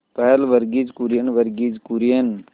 पहल वर्गीज कुरियन वर्गीज कुरियन